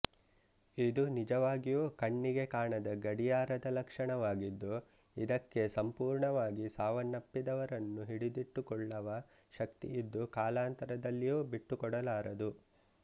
ಇದು ನಿಜವಾಗಿಯೂ ಕಣ್ಣಿಗೆ ಕಾಣದ ಗಡಿಯಾರದ ಲಕ್ಷಣವಾಗಿದ್ದು ಇದಕ್ಕೆ ಸಂಪೂರ್ಣವಾಗಿ ಸಾವನ್ನಪ್ಪಿದವರನ್ನು ಹಿಡಿದಿಟ್ಟುಕೊಳ್ಳವ ಶಕ್ತಿಯಿದ್ದು ಕಾಲಾಂತರದಲ್ಲಿಯೂ ಬಿಟ್ಟುಕೊಡಲಾರದು